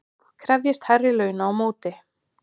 Krefjist hærri launa á móti